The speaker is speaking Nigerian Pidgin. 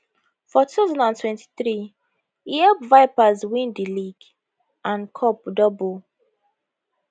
for 2023 e help vipers win di league and cup double